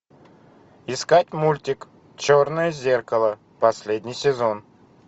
искать мультик черное зеркало последний сезон